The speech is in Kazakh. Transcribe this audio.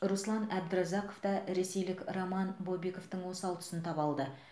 руслан әбдіразақов та ресейлік роман бобиковтің осал тұсын таба алды